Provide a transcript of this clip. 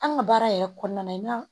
An ka baara yɛrɛ kɔnɔna na